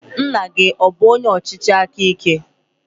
Nna gị ọ bụ onye ọchịchị aka ike?